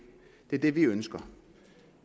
er det vi ønsker